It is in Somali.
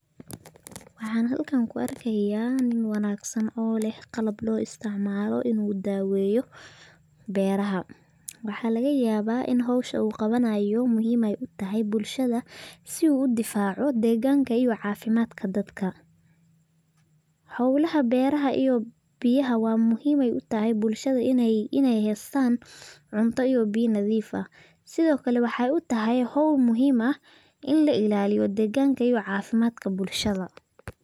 Waxan halkan ku arkaya nin wanaagsan oo leh qalab loo isticmaalo inu daaweyo beeraha ,waxaa laga yabaa inu howshu qabanayo muhiim ay utahay bulshada si u udifaaco deegganka iyo caafimaadka dadka, howla beeraha iyo biyaha wa muhiim ayay utahay bulshada inay haystan cunto iyo biya nadiif ah, sidokale waxay utahay howl muhiim ah in la illaliyo deegganka iyo caafimaadka bulshada